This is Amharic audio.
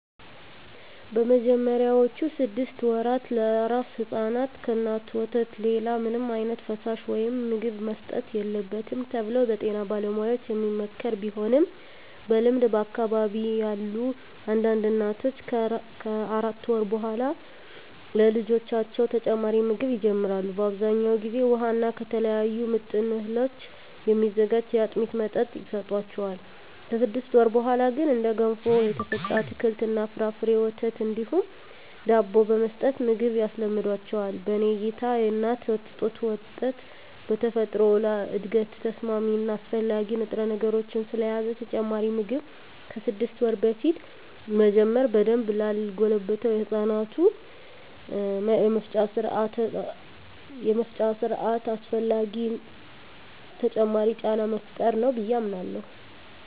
በመጀመሪያዎቹ ስድስት ወራ ለአራስ ሕፃናት ከእናቶች ወተት ሌላ ምንም ዓይነት ፈሳሽ ወይም ምግብ መሰጠት የለበትም ተብሎ በጤና ባለሙያዎች የሚመከር ቢሆንም በልምድ በአካባቢየ ያሉ አንዳንድ እናቶች ከአራት ወር በኃላ ለልጆቻቸው ተጨማሪ ምግብ ይጀምራሉ። በአብዛኛው ጊዜ ውሃ እና ከተለያዩ ምጥን እህሎች የሚዘጋጅ የአጥሚት መጠጥ ይሰጣቸዋል። ከስድስት ወር በኀላ ግን እንደ ገንፎ፣ የተፈጨ አትክልት እና ፍራፍሬ፣ ወተት እንዲሁም ዳቦ በመስጠት ምግብ ያስለምዷቸዋል። በኔ እይታ የእናት ጡት ወተት በተፈጥሮ ለእድገት ተስማሚ እና አስፈላጊ ንጥረነገሮችን ስለያዘ ተጨማሪ ምግብ ከስድስት ወር በፊት መጀመር በደንብ ላልጎለበተው የህፃናቱ የመፍጫ ስርአት አላስፈላጊ ተጨማሪ ጫና መፍጠር ነው ብየ አምናለሁ።